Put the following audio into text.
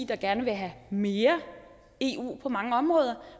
der gerne vil have mere eu på mange områder